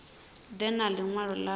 ḓe na ḽi ṅwalo ḽavho